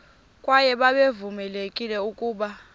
kwaye babevamelekile ukuba